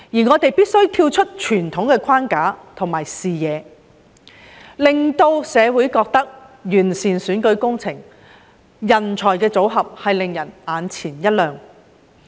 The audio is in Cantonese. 我們必須跳出傳統框架和視野，令社會對完善的選舉制度和人才組合眼前一亮。